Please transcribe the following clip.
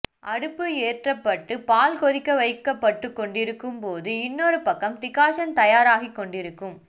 அடுப்பு ஏற்றப்பட்டுப் பால் கொதிக்க வைக்கபட்டுக் கொண்டிருக்கும் போது இன்னொரு பக்கம் டிகாசன் தயார் ஆகிக்கொண்டிருக்கும்